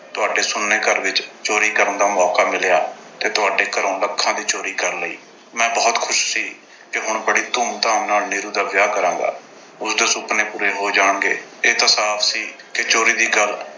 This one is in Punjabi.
ਤੁਹਾਡੇ ਸੁੰਨੇ ਘਰ ਵਿੱਚ ਚੋਰੀ ਕਰਨ ਦਾ ਮੌਕਾ ਮਿਲਿਆ ਤੇ ਤੁਹਾਡੇ ਘਰੋਂ lakhs ਦੀ ਚੋਰੀ ਕਰ ਲਈ। ਮੈਂ ਬਹੁਤ ਖੁਸ਼ ਸੀ ਕਿ ਹੁਣ ਬੜੀ ਧੂਮ-ਧਾਮ ਨਾਲ ਨੀਰੂ ਦਾ ਵਿਆਹ ਕਰਾਂਗਾ। ਉਸਦੇ ਸੁਪਨੇ ਪੂਰੇ ਹੋ ਜਾਣਗੇ। ਇਹ ਤਾਂ ਸਾਫ਼ ਸੀ ਕਿ ਚੋਰੀ ਦੀ ਗੱਲ